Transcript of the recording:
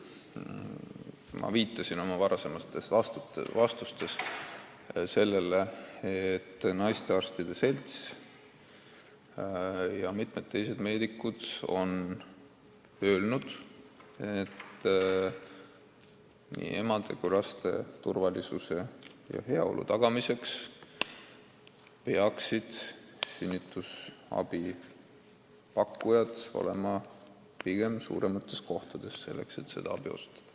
Aga ma viitasin oma vastustes sellele, et naistearstide selts ja mitmed teised meedikud on öelnud, et nii emade kui laste turvalisuse ja heaolu tagamiseks peaksid sünnitusabi pakkujad olema pigem suuremates kohtades, et võimalikult head abi osutada.